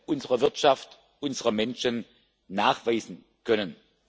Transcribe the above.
unserer Wirtschaft, unserer Menschen nachweisen können.